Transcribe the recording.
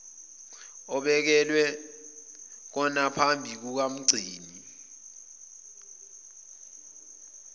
obekelwe konaphambi kukamgcini